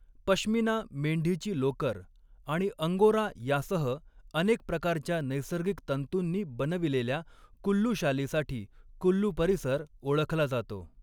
पश्मिना, मेंढीची लोकर आणि अंगोरा यासह अनेक प्रकारच्या नैसर्गिक तंतूंनी बनविलेल्या कुल्लू शालीसाठी कुल्लू परिसर ओळखला जातो.